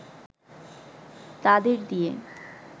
তাদের দিয়ে